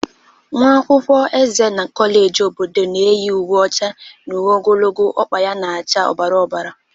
Nwa akwụkwọ eze na kọleji obodo na-eyi uwe ọcha na uwe ogologo ọkpa na-acha ọbara ọbara